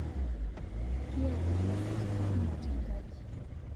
kiiyata nkasetini kumo tenkaji